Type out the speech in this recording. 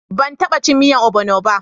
Ban taba cin miyan ogbono ba.